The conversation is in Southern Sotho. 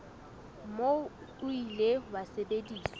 moo o ile wa sebediswa